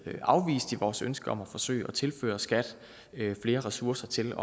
afvist i vores ønske om at forsøge at tilføre skat flere ressourcer til